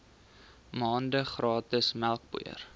maande gratis melkpoeier